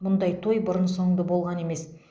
мұндай той бұрын соңды болған емес